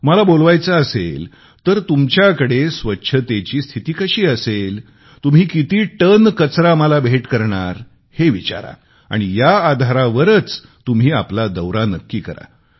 मला बोलवायचे असेल तर तुमच्याकडे स्वच्छतेची स्थिती कशी असेल तुम्ही किती टन कचरा मला भेट करणार हे विचारा आणि या आधारावरच तुम्ही आपला दौरा नक्की करा